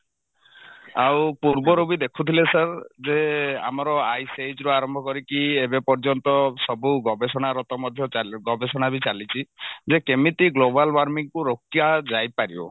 ଆଉ ପୂର୍ବରୁ ବି ଦେଖୁଥିଲେ sir ଯେ ଆମର eye size ରୁ ଆରମ୍ଭ କରିକି ଏବେ ପର୍ଯ୍ୟନ୍ତ ସବୁ ଗବେଷଣାରତ ମଧ୍ୟ ଚାଲୁ ଗବେଷଣାବି ଚାଲିଛି ଯେ କେମିତି global warming କୁ ରୋକା ଯାଇପାରିବ